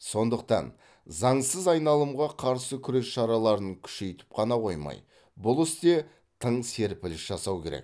сондықтан заңсыз айналымға қарсы күрес шараларын күшейтіп қана қоймай бұл істе тың серпіліс жасау керек